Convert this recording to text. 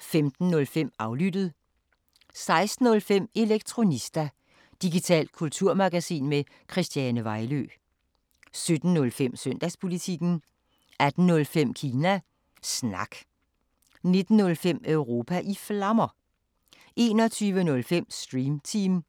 15:05: Aflyttet 16:05: Elektronista – digitalt kulturmagasin med Christiane Vejlø 17:05: Søndagspolitikken 18:05: Kina Snak 19:05: Europa i Flammer 21:05: Stream Team